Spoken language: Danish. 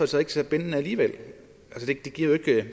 så ikke så bindende alligevel det giver jo ikke